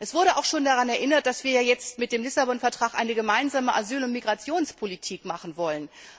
Es wurde auch schon daran erinnert, dass wir jetzt mit dem Lissabon Vertrag eine gemeinsame Asyl und Migrationspolitik machen wollen.